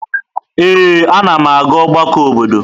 Ee, anam aga ọgbakọ obodo.